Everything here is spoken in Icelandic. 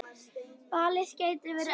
Valið gæti verið erfitt.